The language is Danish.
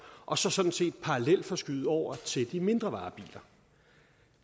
og så sådan set parallelforskyde over til de mindre varebiler